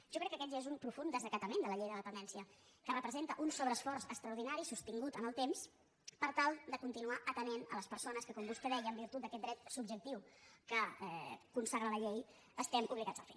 jo crec que aquest ja és un profund desacatament de la llei de la dependència que representa un sobreesforç extraordinari sostingut en el temps per tal de continuar atenent les persones que com vostè deia en virtut d’aquest dret subjectiu que consagra la llei estem obligats a fer